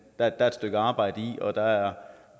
er et stykke arbejde i og der er